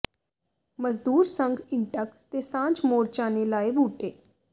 ਮਜ਼ਦੂਰ ਸੰਘ ਇੰਟਕ ਤੇ ਸਾਂਝ ਮੋਰਚਾ ਨੇ ਲਾਏ ਬੂਟੇ